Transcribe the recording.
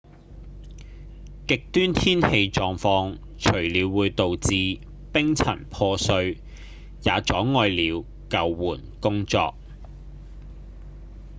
極端天氣狀況除了會導致冰層破碎也阻礙了救援工作